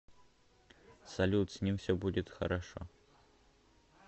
салют с ним все будет хорошо